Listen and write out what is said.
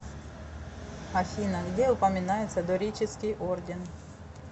афина где упоминается дорический орден